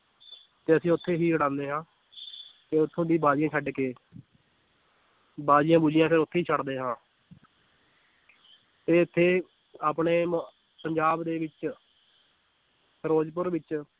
ਤੇ ਅਸੀਂ ਉੱਥੇ ਹੀ ਉਡਾਉਂਦੇ ਹਾਂ ਤੇ ਉੱਥੋਂ ਦੀ ਬਾਜੀਆਂ ਛੱਡ ਕੇ ਬਾਜੀਆਂ ਬੂਜੀਆਂ ਫਿਰ ਉੱਥੇ ਹੀ ਛੱਡਦੇ ਹਾਂ ਤੇ ਇੱਥੇ ਆਪਣੇ ਮੁ ਪੰਜਾਬ ਦੇ ਵਿੱਚ ਫਿਰੋਜ਼ਪੁਰ ਵਿੱਚ